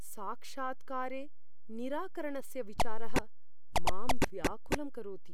साक्षात्कारे निराकरणस्य विचारः मां व्याकुलं करोति।